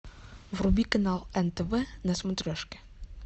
вруби канал нтв на смотрешке